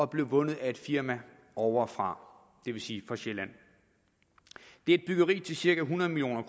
blev vundet af et firma ovrefra det vil sige fra sjælland det er et byggeri til cirka hundrede million